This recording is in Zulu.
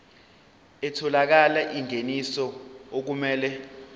ethola ingeniso okumele